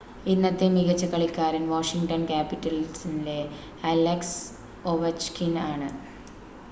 ഇന്നത്തെ മികച്ച കളിക്കാരൻ വാഷിംഗ്‌ടൺ ക്യാപിറ്റലിലെ അലക്സ് ഒവച്കിൻ ആണ്